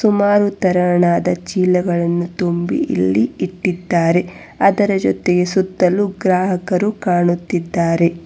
ಮಾರು ತರಾಣದ ಚೀಲಗಳನ್ನು ತುಂಬಿ ಇಲ್ಲಿ ಇಟ್ಟಿದಾರೆ ಅದರ ಜೊತೆ ಸುತ್ತಲು ಗ್ರಾಹಕರು ಕಾಣುತ್ತಿದ್ದಾರೆ.